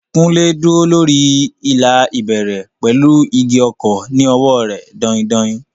Kunle dúró lórí ìlà ìbẹ̀rẹ̀ pẹ̀lú igi ọ̀kọ̀ ní ọwọ́ rẹ̀ dain-dain.